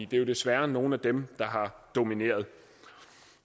det er jo desværre nogle af dem der har domineret